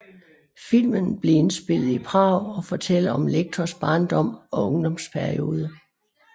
Filmen blev indspillet Prag og fortæller om Lectors barndom og ungdomsperiode